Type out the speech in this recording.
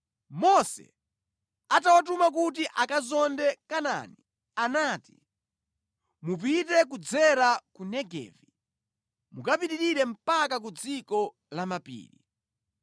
Mose atawatuma kuti akazonde Kanaani anati, “Mupite kudzera ku Negevi, mukapitirire mpaka ku dziko la mapiri.